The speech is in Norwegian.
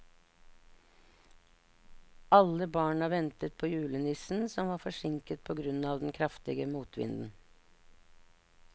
Alle barna ventet på julenissen, som var forsinket på grunn av den kraftige motvinden.